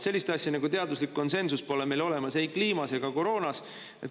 Sellist asja nagu teaduslik konsensus pole meil olemas ei kliima ega koroona puhul.